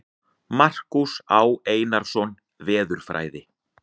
Markús Á. Einarsson, Veðurfræði.